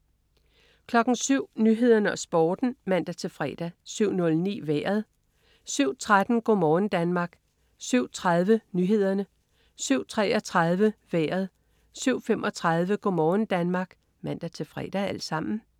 07.00 Nyhederne og Sporten (man-fre) 07.09 Vejret (man-fre) 07.13 Go' morgen Danmark (man-fre) 07.30 Nyhederne (man-fre) 07.33 Vejret (man-fre) 07.35 Go' morgen Danmark (man-fre)